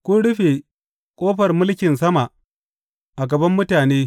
Kun rufe ƙofar mulkin sama a gaban mutane.